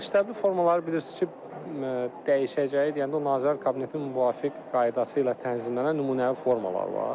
Məktəbli formaları bilirsiniz ki, dəyişəcəyi deyəndə Nazirlər Kabinetinin müvafiq qaydası ilə tənzimlənən nümunəvi formalar var.